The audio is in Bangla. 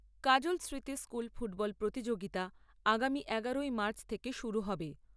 কাজল স্মৃতি স্কুল ফুটবল প্রতিযোগিতা আগামী এগারোই মার্চ থেকে শুরু হবে।